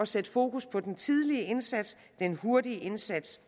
sætte fokus på den tidlige indsats den hurtige indsats